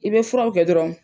I bɛ furaw kɛ dɔrɔn.